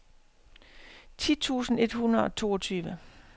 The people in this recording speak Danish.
ti tusind et hundrede og toogtyve